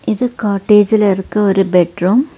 இது காட்டேஜ்ல இருக்க ஒரு பெட் ரூம் .